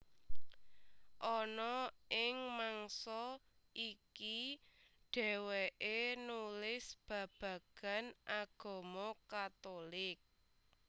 Ana ing mangsa iki dhèwèké nulis babagan agama Katulik